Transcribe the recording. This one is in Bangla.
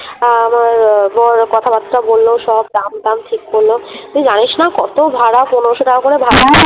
আ মার বর কথা-বার্তা বলল সব দাম টাম ঠিক করলো । তুই জানিস না কত ভাড়া! পনেরশো টাকা করে ভা